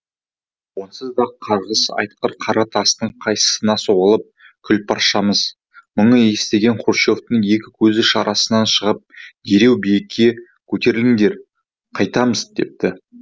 онсыз да қарғыс атқыр қара тастың қайсына соғылып күл паршамыз мұны естіген хрущевтің екі көзі шарасынан шығып дереу биікке көтеріліңдер қайтамыз депті